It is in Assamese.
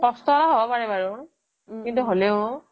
কষ্টকৰ হ'ব পাৰে বাৰু কিন্তু হলেও